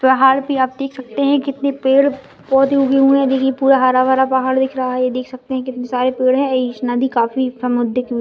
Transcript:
पहाड़ पे आप देख सकते है की कितने पेड़ पौधे उगे हुए है ये पूरा हरा भरा पहाड़ दिख रहा है देख सकते है कितने सारे पेड़ है इस नदी काफी --